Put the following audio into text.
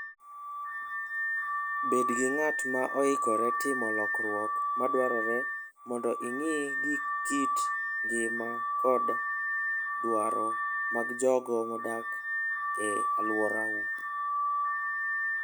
Bed ng'at moikore timo lokruok madwarore mondo ing'i gi kit ngima koda dwaro mag jogo modak e alworau.